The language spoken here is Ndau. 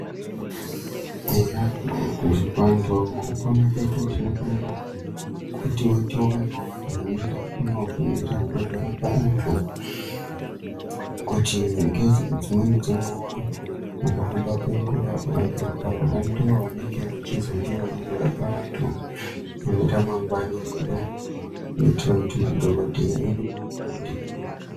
Eya vantu mukupona kwedu tinofanira kuti tionewo vanhu vanoendawo kunofundira kuzorapa vantu nekuti dzimweni dzenguwa mukuhamba kwenguwa vantu ava ndivo vanenge vachizouya vachizorapa vantu muneramangwana redu kuitira kuti madhokhodheya edu avandudzwe.